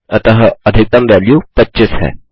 अतः अधिकतम वैल्यू 25 है